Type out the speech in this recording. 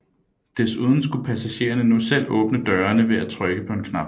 Desuden skulle passagererne nu selv åbne dørene ved at trykke på en knap